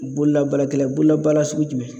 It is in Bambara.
Boolabaarakɛla boolabaara sugu jumɛn?